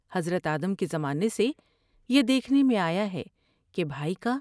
حضرت آدم کے زمانے سے یہ دیکھنے میں آیا ہے کہ بھائی کا